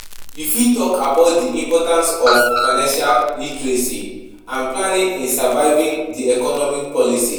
you fit talk about di importance of financial literacy and planning in surviving di economic policies.